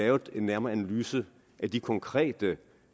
lavet en nærmere analyse af de konkrete